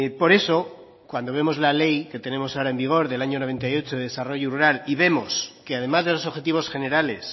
por eso cuando vemos la ley que tenemos ahora en vigor del año noventa y ocho de desarrollo rural y vemos que además de los objetivos generales